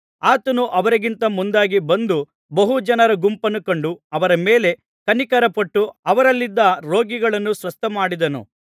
ಆತನು ಅವರಿಗಿಂತ ಮುಂದಾಗಿ ಬಂದು ಬಹು ಜನರ ಗುಂಪನ್ನು ಕಂಡು ಅವರ ಮೇಲೆ ಕನಿಕರಪಟ್ಟು ಅವರಲ್ಲಿದ್ದ ರೋಗಿಗಳನ್ನು ಸ್ವಸ್ಥಮಾಡಿದನು